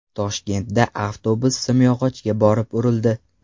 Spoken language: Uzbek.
Toshkentda avtobus simyog‘ochga borib urildi .